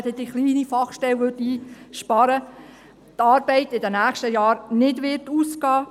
Indem man diese einsparen würde, könnte man noch keine Steuersenkung machen.